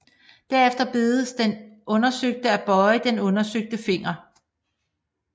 Derefter bedes den undersøgte at bøje den undersøgte finger